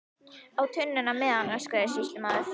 Á tunnuna með hann, öskraði sýslumaður.